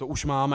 To už máme.